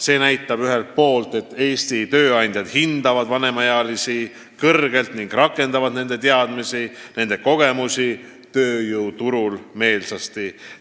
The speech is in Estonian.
See näitab ühelt poolt, et Eesti tööandjad hindavad vanemaealisi kõrgelt ning rakendavad nende teadmisi ja kogemusi meelsasti.